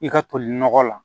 I ka toli nɔgɔ la